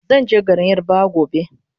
Zanje garin yarabawa gobe